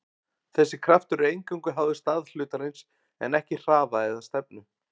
Þessi kraftur er eingöngu háður stað hlutarins en ekki hraða eða stefnu.